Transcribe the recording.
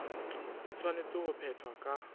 e tshwanetse ho phethwa ka